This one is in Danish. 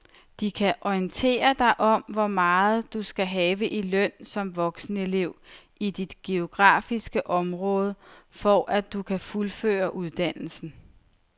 De kan orientere dig om hvor meget du skal have i løn som voksenelev i dit geografiske område, for at du kan fuldføre uddannelsen.